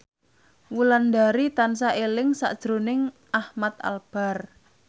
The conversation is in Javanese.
Wulandari tansah eling sakjroning Ahmad Albar